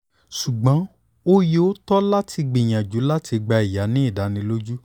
ṣugbọn o yoo tọ lati gbiyanju lati gba iya ni idaniloju